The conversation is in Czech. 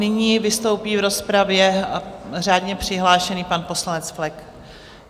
Nyní vystoupí v rozpravě řádně přihlášený pan poslanec Flek.